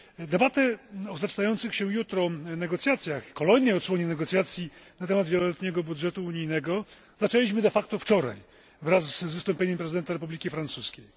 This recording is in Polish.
Debatę o zaczynających się jutro negocjacjach, kolejnej odsłonie negocjacji na temat wieloletniego budżetu unijnego zaczęliśmy wczoraj, wraz z wystąpieniem prezydenta Republiki Francuskiej.